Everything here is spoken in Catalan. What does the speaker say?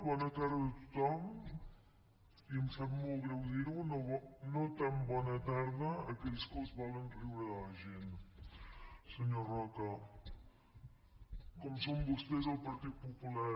bona tarda a tothom i em sap molt greu dir ho no tan bona tarda a aquells que es volen riure de la gent senyor roca com són vostès el partit popular